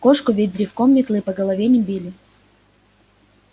кошку ведь древком метлы по голове не били